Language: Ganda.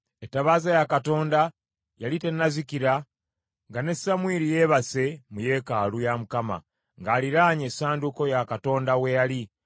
Ettabaaza ya Katonda yali tennazikira nga ne Samwiri yeebase mu yeekaalu ya Mukama ng’aliraanye essanduuko ya Katonda we yali.